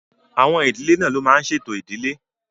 Àwọn ìdílé náà ló máa n ṣe ètò ìdílé